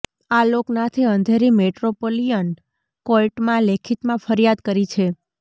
આલોક નાથે અંધેરી મેટ્રોપોલિયન કોર્ટમાં લેખિતમાં ફરિયાદ કરી છે